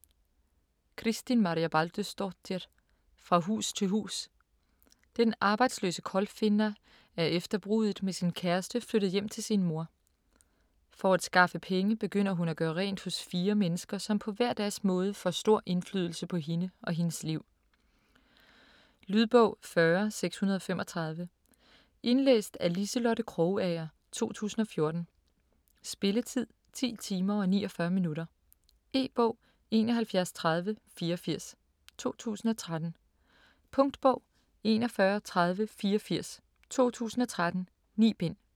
Kristín Marja Baldursdóttir: Fra hus til hus Den arbejdsløse Kolfinna er efter bruddet med sin kæreste flyttet hjem til sin mor. For at skaffe penge begynder hun at gøre rent hos fire mennesker, som på hver deres måde får stor indflydelse på hende og hendes liv. Lydbog 40635 Indlæst af Liselotte Krogager, 2014. Spilletid: 10 timer, 49 minutter. E-bog 713084 2013. Punktbog 413084 2013. 9 bind.